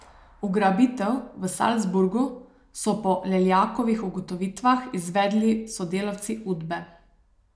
Ugrabitev v Salzburgu so po Leljakovih ugotovitvah izvedli sodelavci Udbe.